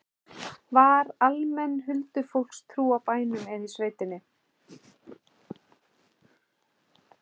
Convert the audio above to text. Var almenn huldufólkstrú á bænum eða í sveitinni?